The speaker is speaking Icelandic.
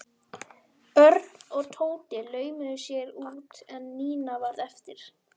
Örn og Tóti laumuðu sér út en Nína varð eftir.